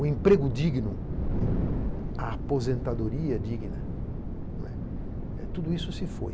O emprego digno, a aposentadoria digna, tudo isso se foi.